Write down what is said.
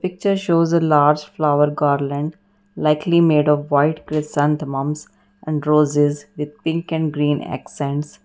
picture shows a large flower garland likely made of white chrysanthemums and roses with pink and green accents.